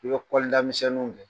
I bɛli kɔda misɛninw ye.